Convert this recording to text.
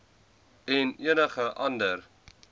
en enige ander